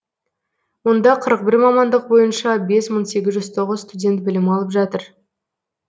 онда қырық бір мамандық бойынша бес мың сегіз жүз тоғыз студент білім алып жатыр